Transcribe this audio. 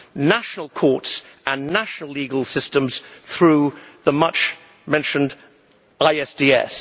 national courts and national legal systems through the much mentioned ISDS.